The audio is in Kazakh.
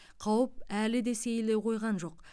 қауіп әлі де сейіле қойған жоқ